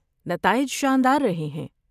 نتائج شاندار رہے ہیں۔